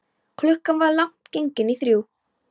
Klukkan var langt gengin í þrjú.